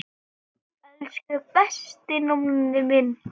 Elsku besti Nonni minn.